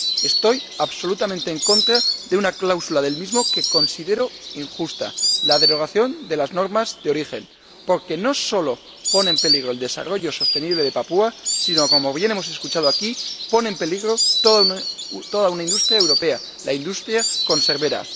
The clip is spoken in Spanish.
Estoy absolutamente en contra de una cláusula del mismo que considero injusta la exención a las normas de origen, porque no solo pone en peligro el desarrollo sostenible de Papúa Nueva Guinea sino que, como bien hemos escuchado aquí, pone en peligro toda una industria europea, la industria conservera.